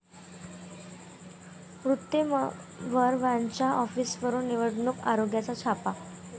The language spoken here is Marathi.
मुत्तेमवार यांच्या ऑफिसवर निवडणूक आयोगाचा छापा